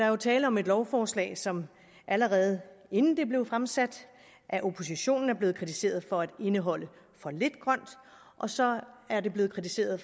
jo tale om et lovforslag som allerede inden det blev fremsat af oppositionen er blevet kritiseret for at indeholde for lidt grønt og så er det blevet kritiseret